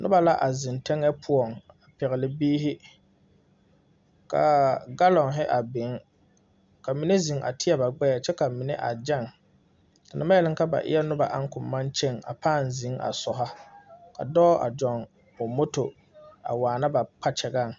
Noba la a zeŋ teŋa poɔ a pegle biiri kaa galoŋ a biŋ ka mine mine zeŋ teɛ ba gbeɛ kyɛ ka mine a gaŋ te na baŋ yeli ka ba e yɛ noba naŋ koŋ baŋ kyɛŋ a paa zeŋ a sɔro ka dɔɔ a zoŋ o moto a waana ba kpakyɛgaŋ.